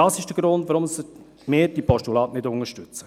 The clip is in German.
Dies ist der Grund, weshalb wir diese Postulate nicht unterstützen.